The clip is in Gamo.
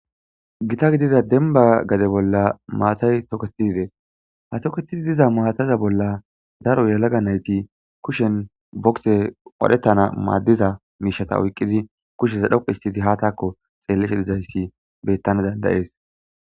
Gita gidida denba gade bolla maatay toketizi dees ha toketizi diza maataza bolla daro yalaga nayti kushen bokse qadhettana maaddiza miishata oyqqidi kusheza dhoqu histidi ha taakko xeelleshe dizayssi bettana dandayees.